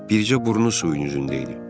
Bircə burnu suyun üzündəydi.